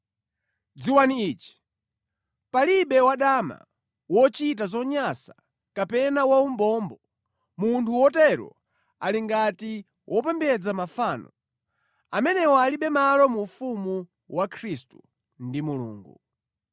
Dziwani ichi, palibe wadama, wochita zonyansa kapena waumbombo, munthu wotero ali ngati wopembedza mafano, amenewa alibe malo mu ufumu wa Khristu ndi Mulungu.